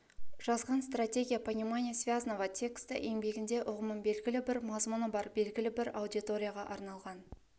жазған стратегия понимания связного текста еңбегінде ұғымын белгілі бір мазмұны бар белгілі бір аудиторияға арналған